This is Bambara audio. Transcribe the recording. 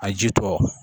A ji tɔ